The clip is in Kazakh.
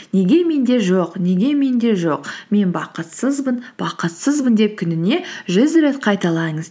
неге менде жоқ неге менде жоқ мен бақытсызбын бақытсызбын деп күніне жүз рет қайталаңыз